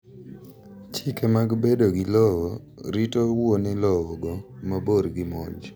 chike mag bedo gi lowo rito wuone lowo go mabor gi monj